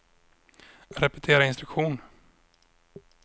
repetera instruktion